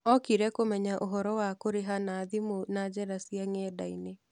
Okire kũmenya ũhoro wa kũrĩha na thimũ na njĩra cia ng'enda-inĩ.